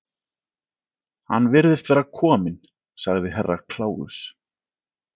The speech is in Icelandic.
Hann virðist vera kominn, sagði Herra Kláus.